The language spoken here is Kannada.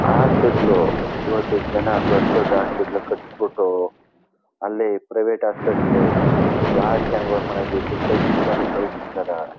ಹಾಸ್ಪಿಟಲು ಇವತ್ತು ಜನ ದೊಡ್ಡ್ ದೊಡ್ಡ್ ಹಾಸ್ಪಿಟಲ್ ಕಟ್ಟಿಸ್ಬಿಟ್ಟು ಅಲ್ಲೇ ಪ್ರೈವೇಟ್ ಹೋಸ್ಪಿಟಲ್ಲಲ್ಲಿ ಬಹಳ ಜನಗಳಿಂದ ದುಡ್ಡು ಕಿತುಕೊಂಡು ಕಲಸಬಿಡ್ತಾರೆ.